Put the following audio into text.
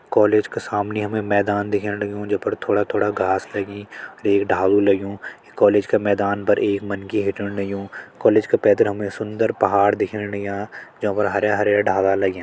College का सामनि हमें मैदान दिखेण लग्युं जै फर थोड़ा-थोड़ा घास लगीं एक डालू लग्युं कॉलेज क मैदान पर एक मनखी हिटेण लग्युं कॉलेज क पैथर हमें सुंदर पहाड़ दिखेण लग्यां ज्यों पर हरयां-हरयां डाला लग्यां।